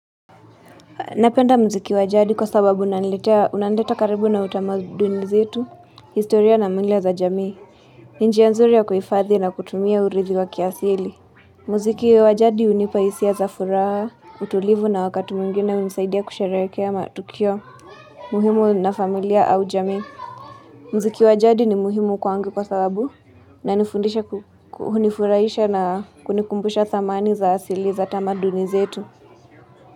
Napenda muziki wa jadi kwa sababu unaniletea unanileta karibu na utamaduni zetu, historia na mila za jamii. Njia nzuri ya kuhifadhi na kutumia uridhi wa kiasili. Muziki wa jadi hunipa hisia za furaha, utulivu na wakati mwingine hunisaidia kusherehekea matukio, muhimu na familia au jamii. Muziki wa jadi ni muhimu kwangu kwa sababu inanifundisha ku hunifurahisha na kunikumbusha thamani za asili za tamaduni zetu.